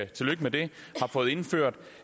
tillykke med det har fået indført